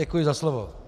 Děkuji za slovo.